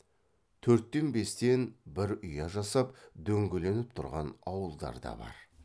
төрттен бестен бір ұя жасап дөңгеленіп тұрған ауылдар да бар